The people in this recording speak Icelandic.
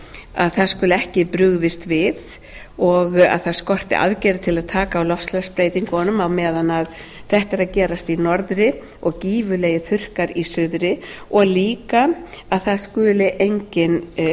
að það skuli ekki brugðist við og að það skorti aðgerðir til að taka á loftslagsbreytingunum á meðan þetta er að gerast í norðri og gífurlegir þurrkar í suðri og líka að það skuli enginn